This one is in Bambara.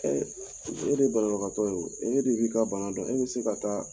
Ɛɛ e de ye banabagatɔ ye e de b'i ka dɔn e bɛ se ka taa